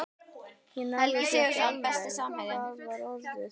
Ég náði því ekki alveg: hvað var orðið?